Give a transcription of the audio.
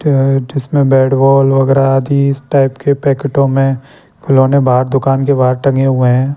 य जिसमें bat ball वगैरा इस टाइप के पैकेटों में खिलौने बाहर दुकान के बाहर टंगे हुए हैं।